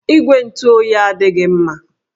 Igwe ntụ oyi adịghị mma